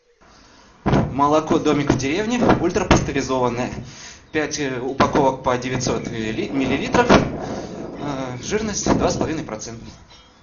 молоко домик в деревне ультрапастеризованное пять упаковок по девятьсот миллилитров жирность два с половиной процента